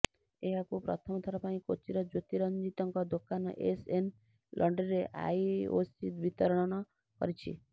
ଏହାକୁ ପ୍ରଥମ ଥର ପାଇଁ କୋଚିର ଜ୍ୟୋତି ରଞ୍ଜିତଙ୍କ ଦୋକାନ ଏସ ଏନ ଲଣ୍ଡ୍ରିରେ ଆଇଓସି ବିତରଣ କରିଛି